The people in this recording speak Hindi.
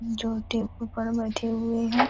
जो टेबल पर बैठे हुए हैं।